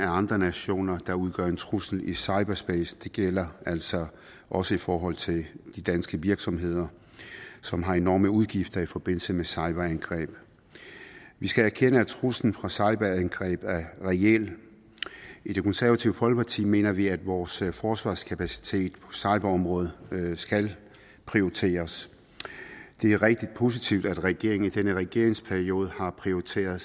andre nationers side at der udgør en trussel i cyberspace det gælder altså også i forhold til de danske virksomheder som har enorme udgifter i forbindelse med cyberangreb vi skal erkende at truslen fra cyberangreb er reel i det konservative folkeparti mener vi at vores forsvarskapacitet på cyberområdet skal prioriteres det er rigtig positivt at regeringen i denne regeringsperiode har prioriteret